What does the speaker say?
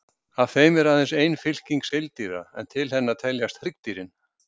Af þeim er aðeins ein fylking seildýra, en til hennar teljast hryggdýrin.